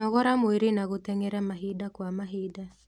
Nogora mwĩrĩ na gũteng'era mahinda kwa mahinda